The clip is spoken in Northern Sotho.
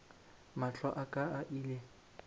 mahlo a ka a ile